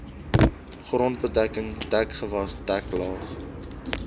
grondbedekking dekgewas deklaag